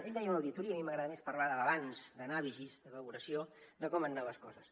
ell deia una auditoria a mi m’agrada més parlar de balanç d’anàlisi de valoració de com han anat les coses